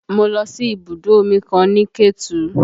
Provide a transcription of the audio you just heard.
Mo lọ sí ibùdó omi kan ní Ketu